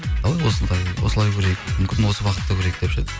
қалай осындай осылай көрейік мүмкін осы бағытта көрейік деп ше